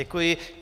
Děkuji.